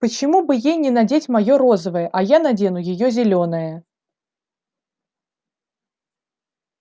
почему бы ей не надеть моё розовое а я надену её зелёное